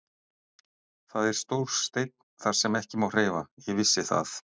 Það er stór steinn þar sem ekki má hreyfa, ég vissi það.